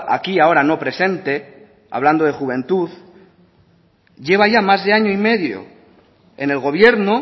aquí ahora no presente hablando de juventud lleva ya más de año y medio en el gobierno